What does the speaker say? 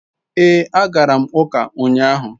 Ee, agara m uka unyahu